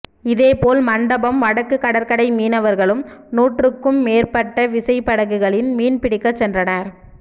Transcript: இதேபோல் மண்டபம் வடக்கு கடற்கரை மீனவர்களும் நூற்றுக்கும் மேற்பட்ட விசைப்படகுகளில் மீன் பிடிக்க சென்றனர்